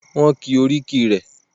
Wọ́n ki oríkì rẹ.